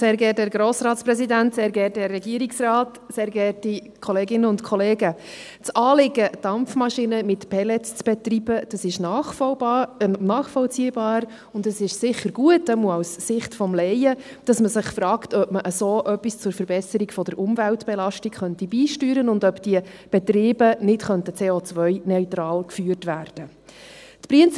Das Anliegen, Dampfmaschinen mit Pellets zu betreiben, ist nachvollziehbar, und es ist sicher gut – zumindest aus der Sicht des Laien –, dass man sich fragt, ob man so etwas zur Verbesserung der Umweltbelastung beisteuern könnte und ob diese Betriebe nicht COneutral geführt werden könnten.